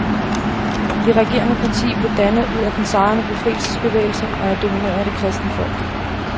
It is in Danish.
Det regerende parti blev dannet ud af den sejrende befrielsesbevægelse og er domineret af det kristne folk.